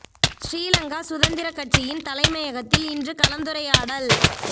ஸ்ரீ லங்கா சுதந்திரக் கட்சியின் தலைமையகத்தில் இன்று கலந்துரையாடல்